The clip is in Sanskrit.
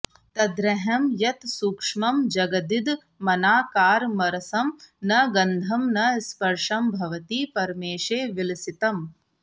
तदर्हं यत्सूक्ष्मं जगदिदमनाकारमरसं न गन्धं न स्पर्शं भवति परमेशे विलसितम्